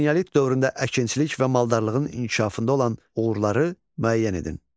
Eneolit dövründə əkinçilik və maldarlığın inkişafında olan uğurları müəyyən edin.